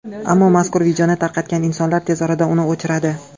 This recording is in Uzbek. Ammo mazkur videoni tarqatgan insonlar tez orada uni o‘chiradi.